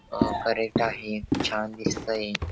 अ parrot आहे छान दिसतंय.